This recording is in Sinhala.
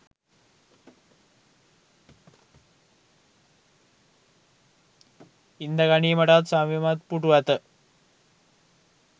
ඉන්දගනීමටත් සවිමත් පුටු ඇත